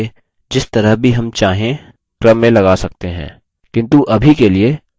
किन्तु अभी के लिए names member names को आरोही क्रम में लगाएँगे